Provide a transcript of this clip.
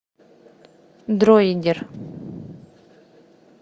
дроидер